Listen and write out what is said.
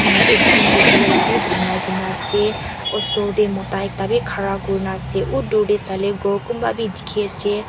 ekjon bonai ke ne ase oshor teh mota ekta bhi khara kuri na ase oh dur teh sai ley ghor kunba bhi dikhi ase.